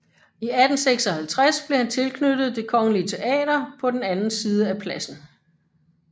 I 1856 blev han tilknyttet Det Kongelige Teater på den anden side af pladsen